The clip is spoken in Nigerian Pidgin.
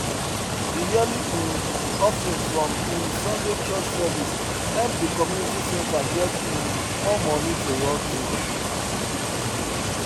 the yearly um offering from um sunday church service help the community center get um more money to run things